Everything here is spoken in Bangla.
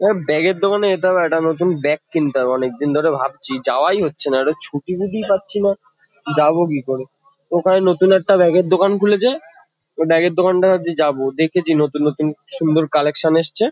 এবার ব্যাগ -এর দোকানে যেতে হবে একটা নতুন ব্যাগ কিনতে হবে অনেক দিন ধরে ভাবছি যাওয়াই হচ্ছে না। একটা ছুটি-ফুটিই পাচ্ছি না। যাবো কি করে? ওখানে নতুন একটা ব্যাগ -এর দোকান খুলেছে। ও ব্যাগ -এর দোকানটায় ভাবছি যাবো। দেখেছি নতুন নতুন সুন্দর কালেকশন এসছে।